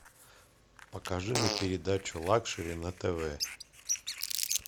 покажи мне передачу лакшери на тв